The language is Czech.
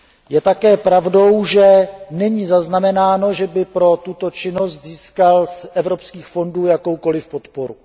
Je také pravdou, že není zaznamenáno, že by pro tuto činnost získal z evropských fondů jakoukoliv podporu.